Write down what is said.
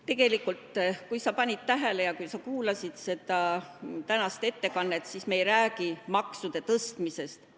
Tegelikult, kui sa panid tähele ja kuulasid tänast ettekannet, siis me ei räägi maksude tõstmisest.